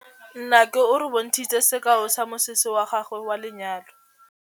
Nnake o re bontshitse sekaô sa mosese wa gagwe wa lenyalo.